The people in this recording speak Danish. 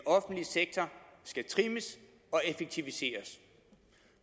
offentlige sektor skal trimmes og effektiviseres